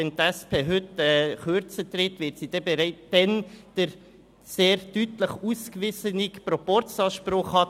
Wenn die SP heute kürzer tritt, wird sie bereits den sehr deutlich ausgewiesenen Proporzanspruch haben.